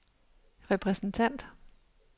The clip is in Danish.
repræsentant